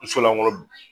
N solankolon